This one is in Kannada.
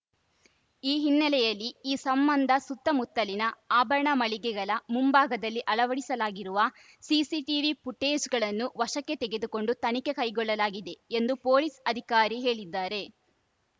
ಈ ಹಿನ್ನೆಲೆಯಲ್ಲಿ ಈ ಸಂಬಂಧ ಸುತ್ತಮುತ್ತಲಿನ ಆಭರಣ ಮಳಿಗೆಗಳ ಮುಂಭಾಗದಲ್ಲಿ ಅಳವಡಿಸಲಾಗಿರುವ ಸಿಸಿಟೀವಿ ಫುಟೇಜ್‌ಗಳನ್ನು ವಶಕ್ಕೆ ತೆಗೆದುಕೊಂಡು ತನಿಖೆ ಕೈಗೊಳ್ಳಲಾಗಿದೆ ಎಂದು ಪೊಲೀಸ್‌ ಅಧಿಕಾರಿ ಹೇಳಿದ್ದಾರೆ